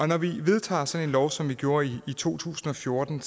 når vi vedtager sådan en lov som vi gjorde i to tusind og fjorten